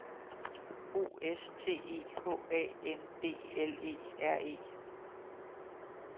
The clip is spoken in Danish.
O S T E H A N D L E R E